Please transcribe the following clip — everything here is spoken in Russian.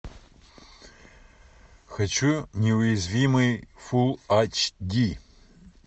хочу неуязвимый фул айч ди